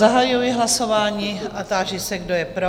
Zahajuji hlasování a ptám se, kdo je pro?